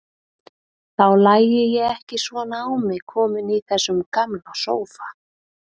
Þá lægi ég ekki svona á mig komin í þessum gamla sófa.